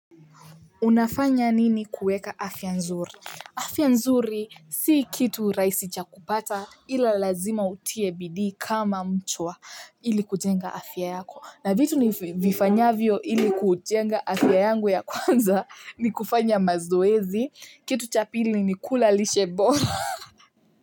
Unafanya nini kuweka afya nzuri? Afya nzuri si kitu rahisi cha kupata ila lazima utie bidii kama mchwa ili kujenga afya yako. Na vitu nivifanyavyo ili kujenga afya yangu ya kwanza ni kufanya mazoezi, kitu cha pili ni kula lishe bora.